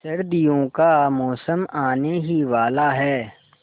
सर्दियों का मौसम आने ही वाला है